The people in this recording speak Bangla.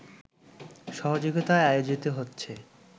সহযোগিতায় আয়োজিত হচ্ছে